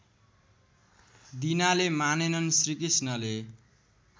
दिनाले मानेनन् श्रीकृष्णले